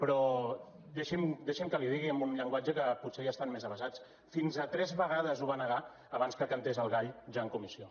però deixi’m que li ho digui amb un llenguatge que potser hi estan més avesats fins a tres vegades ho va negar abans que cantés el gall ja en comissió